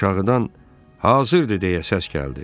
Aşağıdan: "Hazırdır!" deyə səs gəldi.